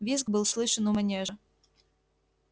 визг был слышен у манежа